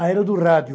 A era do rádio.